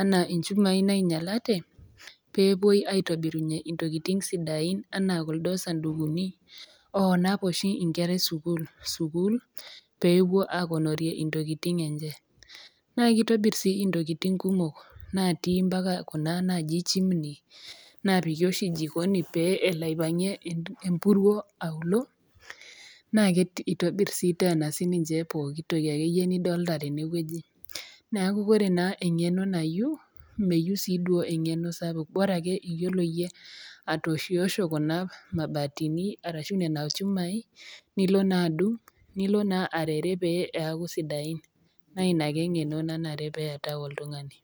anaa inchumai nainyalate, pee epuoi aitobir intokitin sidain anaa kuldo sandukuni naanap oshi inkera e sukuul, sukuul pee epuo akonorie intokitin enye, naa keitobir sii intokitin kumok natii mpaka Kuna naaji chimini naapiki oshi jikooni pee elo aipang'ie empuruo aulo, naa eitobiri sii teena sii ninye pooki toki nidolita tene wueji. Neaku naa eng'eno nayu, meyu siii duo eng'eno saapuk, bora ake iyiolo atooshiosho Kuna mabatini arashu nena chumai, nilo naa adung', nilo naa arere pee eaku sidain naa Ina ake eng'eno nanare pee eatau oltung'ani.